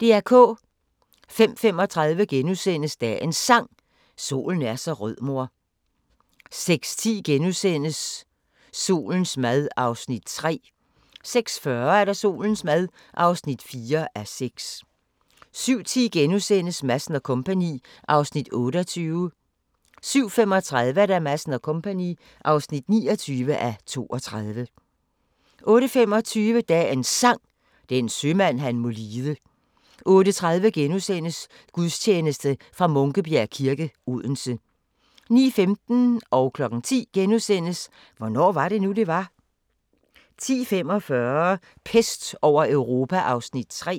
05:35: Dagens Sang: Solen er så rød mor * 06:10: Solens mad (3:6)* 06:40: Solens mad (4:6) 07:10: Madsen & Co. (28:32)* 07:35: Madsen & Co. (29:32) 08:25: Dagens Sang: Den sømand han må lide 08:30: Gudstjeneste fra Munkebjerg kirke, Odense * 09:15: Hvornår var det nu, det var? * 10:00: Hvornår var det nu, det var? * 10:45: Pest over Europa (3:6)